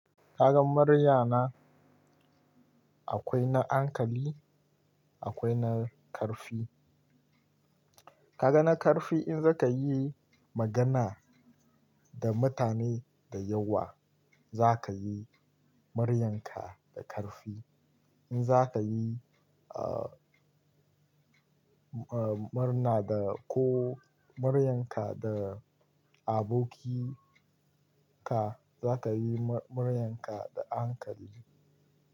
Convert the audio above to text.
Kaga muryana akwai na hankali akwai na karfi. Kaga na karfi in za ka yi magana da mutane da yawa za ka yi muryanka da karfi. In za ka yi, ah, marna da ko muryanka da abokika za ka yi muryanka da a hankali.